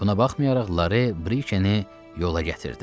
Buna baxmayaraq Lara Brikeni yola gətirdi.